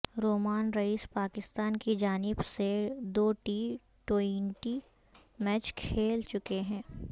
رومان رئیس پاکستان کی جانب سے دو ٹی ٹوئنٹی میچ کھیل چکے ہیں